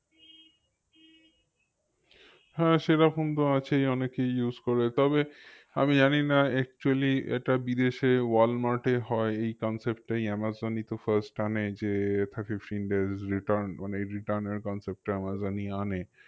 হ্যাঁ সেরকম তো আছেই অনেকেই use করে তবে আমি জানিনা actually এটা বিদেশে ওয়ালমার্টে হয় এই concept টাই আমাজন ই তো first আনে যে days return মানে এই return এর concept টা আমাজন ই আনে